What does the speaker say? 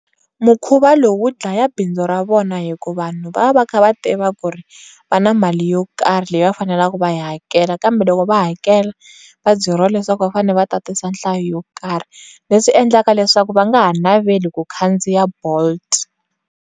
Mukhuva lowu wu dlaya bindzu ra vona hikuva vanhu va va va kha va tiva ku ri va na mali yo karhi leyi va faneleke va yi hakela kambe loko va hakela va byeriwa leswaku va fanele va tatisa nhlayo yo karhi leswi endlaka leswaku va nga ha naveli ku khandziya bolt.